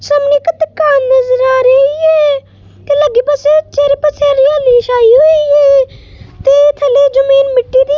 ਸਾਹਮਣੇ ਇੱਕ ਦੁਕਾਨ ਨਜ਼ਰ ਆ ਰਹੀ ਹੈ ਤੇ ਲੱਗੇ ਪਾਸੇ ਚਾਰੇ ਪਾਸੇ ਹਰਿਆਲੀ ਛਾਈ ਹੋਈ ਹੈ ਤੇ ਥੱਲੇ ਜਮੀਨ ਮਿੱਟੀ ਦੀ --